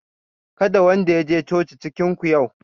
Kada wanda ya je coci cikin ku yau